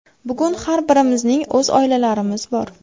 Bugun har birimizning o‘z oilalarimiz bor.